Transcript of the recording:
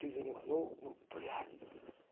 ты же нюхнул ну блять